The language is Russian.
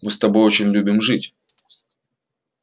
мы с тобой очень любим жить